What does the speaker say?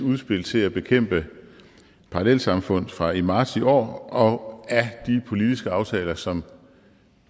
udspil til at bekæmpe parallelsamfund fra marts i år og af de politiske aftaler som